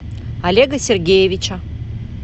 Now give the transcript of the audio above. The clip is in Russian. олега сергеевича